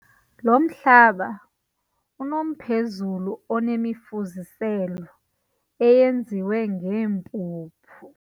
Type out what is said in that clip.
Lo mhlaba unomphezulu onemifuziselo eyenziwe ngeempuphu.